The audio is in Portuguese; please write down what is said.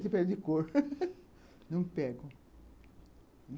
de cor, não impedem